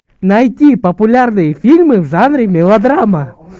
найти популярные фильмы в жанре мелодрама